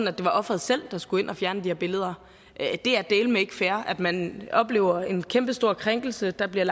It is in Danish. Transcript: at det var ofret selv der skulle ind at fjerne de her billeder det er dæleme ikke fair at man oplever en kæmpestor krænkelse der bliver